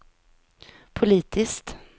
politiskt